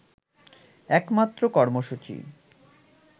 একমাত্র কর্মসূচি